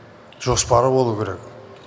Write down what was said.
жоспары болуы керек